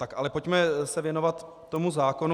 Tak ale pojďme se věnovat tomu zákonu.